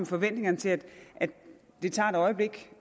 forventningerne til at det tager et øjeblik